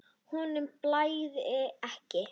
Honum blæðir ekki.